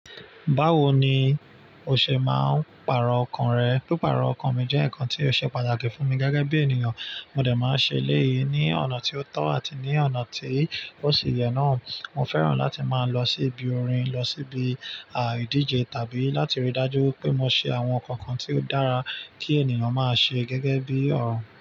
Báwo ni o ṣe máa ń pàrọ̀ ọkàn rẹ? Pípàrọ̀ ọkàn mi jẹ́ ǹnkan tí ó ṣe pàtàkì fún mi gẹ́gẹ́ bí ènìyàn. Mo dẹ̀ máa ń ṣe léyìí ní ọ̀nà tí ó tọ́ àti ní ọ̀nà tí ó sì yẹ náà. Mo fẹ́ràn láti máa lọ sí ibi orin, lọ sí ibi à ìdíje tàbí láti rí i dájú wipé mo ṣe àwọn ǹnkankan tí ó dára tí ènìyàn máa ṣe gẹ́gẹ́ bí ọ̀ràn.